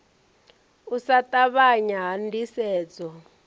u sa ṱavhanya ha ndisedzo